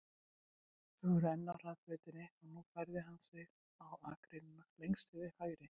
Þau voru enn á hraðbrautinni og nú færði hann sig á akreinina lengst til hægri.